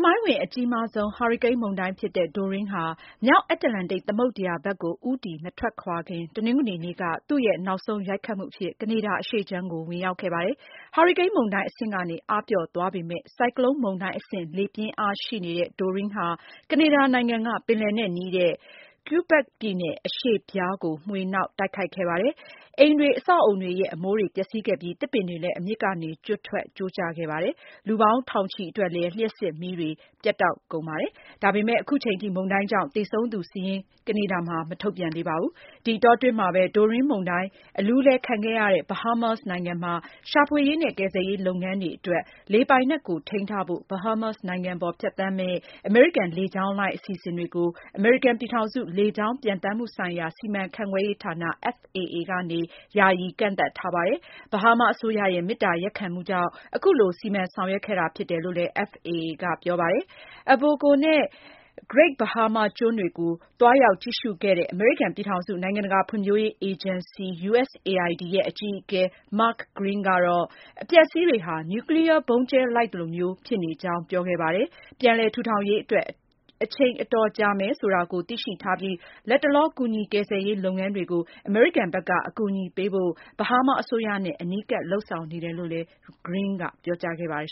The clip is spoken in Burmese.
မိုင်းဝင် အကြီးမားဆုံး ဟာရီကိန်းမုန်တိုင်းဖြစ်တဲ့ Dorian ဟာ မြောက်အတ္တလန္တိတ် သမုဒ္ဒရာဘက်ကို ဦးတည်မထွက်ခွာခင် တနင်္ဂနွေက သူ့ရဲ့ နောက်ဆုံးရိုက်ခတ်မှုအဖြစ် ကနေဒါ အရှေ့ခြမ်းကို ဝင်ရောက်ခဲ့ပါတယ်။ ဟာရီကိန်းမုန်တိုင်း အဆင့်ကနေ အားပျော့သွားပေမယ့် ဆိုက်ကလုန်မုန်တိုင်းအဆင့် လေပြင်းအားရှိနေတဲ့ Dorian ဟာ ကနေဒါအရှေ့ပိုင်း ပင်လယ်နဲ့နီးတဲ့ ဒေသတွေနဲ့ Quebec ပြည်နယ် အရှေ့ဖျားကို မွှေနှောက် တိုက်ခတ်ခဲ့ပါတယ်။ အိမ်တွေ၊ အဆောက်အဦတွေရဲ့ အမိုးတွေ ပျက်စီးခဲ့ပြီး သစ်ပင်တွေလည်း အမြစ်ကနေ ကျွတ်ထွက် ကျိုးကျခဲ့ပါတယ်။ လူပေါင်းထောင်ချီအတွက်လည်း လျှပ်စစ်မီးတွေ ပြတ်တောက်ခဲ့ပါတယ်။ ဒါပေမယ့် အခုချိန်ထိ မုန်တိုင်းကြောင့် သေဆုံးသူစာရင်း ကနေဒါမှာ မထုတ်ပြန်သေးပါဘူး။ ဒီအတောအတွင်းမှာပဲ Dorian မုန်တိုင်းဒဏ် အလူးအလဲခံခဲ့ရတဲ့ Bahamas နိုင်ငံမှာ ရှာဖွေရေးနဲ့ ကယ်ဆယ်ရေး လုပ်ငန်းတွေအတွက် နေရာပေးဖို့ Bahamas နိုင်ငံပေါ် ဖြတ်သန်းမယ့် အမေရိကန် လေကြောင်းလိုင်း အစီအစဉ်တွေကို အမေရိကန် ပြည်ထောင်စု လေကြောင်းပျံသန်းမှုဆိုင်ရာ စီမံခန့်ခွဲရေးဌာန FAA ကနေ ယာယီကန့်သတ်ထားပါတယ်။ Bahama အစိုးရရဲ့ မေတ္တာရပ်ခံမှုကြောင့် အခုလို စီမံဆောင်ရွက်ခဲ့တာဖြစ်ကြောင်း FAA က ပြောပါတယ်။ Abaco နဲ့ Great Baham ကျွန်းတွေကို သွားရောက်ကြည့်ရှုခဲ့တဲ့ အမေရိကန် ပြည်ထောင်စု နိုင်ငံတကာ ဖွံ့ဖြိုးရေးအေဂျင်စီ (USAID) ရဲ့ အကြီးအကဲ Mark Green ကတော့ အပျက်အစီးတွေဟာ နျူကလီးယား ဗုံးကြဲလိုက်သလိုမျိုး ဖြစ်နေကြောင်း ပြောခဲ့ပါတယ်။ ပြန်လည်ထူထောင်ရေးအတွက် အချိန်အတော်ကြာမယ်ဆိုတာကို သိရှိထားပြီး လတ်တလော ကူညီကယ်ဆယ်ရေး လုပ်ငန်းတွေကို အမေရိကန်ဘက်က အကူအညီပေးဖို့ Bahama အစိုးရနဲ့ အနီးကပ် လုပ်ဆောင်နေတယ်လို့လည်း Green က ပြောကြားခဲ့ပါတယ်